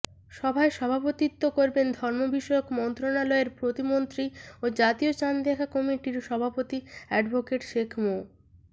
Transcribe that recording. সভায় সভাপতিত্ব করবেন ধর্মবিষয়ক মন্ত্রণালয়ের প্রতিমন্ত্রী ও জাতীয় চাঁদ দেখা কমিটির সভাপতি অ্যাডভোকেট শেখ মো